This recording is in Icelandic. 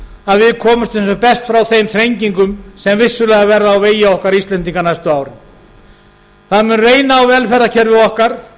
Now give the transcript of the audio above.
að við komumst sem best frá þeim þrengingum sem vissulega verða á vegi okkar íslendinga næstu árin það mun reyna á velferðarkerfi okkar